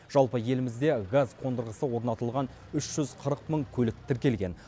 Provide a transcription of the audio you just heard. жалпы елімізде газ қондырғысы орнатылған үш жүз қырық мың көлік тіркелген